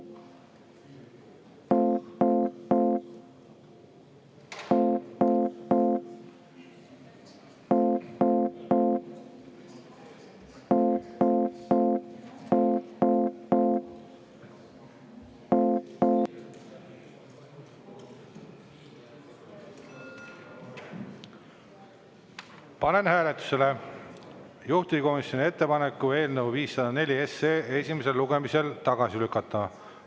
Panen hääletusele juhtivkomisjoni ettepaneku eelnõu 504 esimesel lugemisel tagasi lükata.